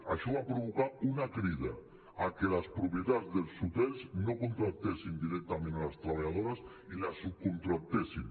això va provocar una crida que les propietats dels hotels no contractessin directament les treballadores i les subcontractessin